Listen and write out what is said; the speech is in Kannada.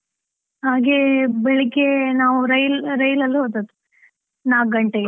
ಹಾಗೆ ಬೆಳಿಗ್ಗೆ ನಾವು ರೈಲ್~ ರೈಲಲ್ ಹೋದದ್ದು, ನಾಕ್ ಗಂಟೆಗೆ.